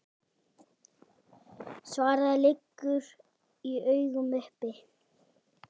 Svarið liggur í augum uppi.